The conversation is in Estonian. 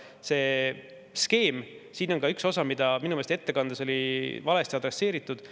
Sellel skeemil on ka üks osa, mida minu meelest ettekandes oli valesti adresseeritud.